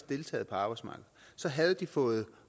deltaget på arbejdsmarkedet så havde de fået